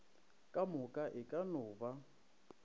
kamoka e ka no ba